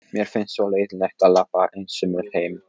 Mér finnst svo leiðinlegt að labba einsömul heim.